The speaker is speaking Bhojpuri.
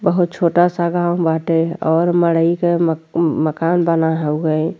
बहुत छोटा सा गॉव बाटे और मरइ के म मकान बना हउए।